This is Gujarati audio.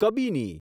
કબીની